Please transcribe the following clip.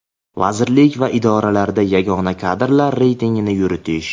vazirlik va idoralarda yagona kadrlar reytingini yuritish;.